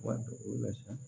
Wari do la sa